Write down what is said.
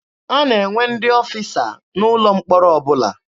A na-enwe ndị ọfịsa n'ụlọ mkpọrọ ọbụla.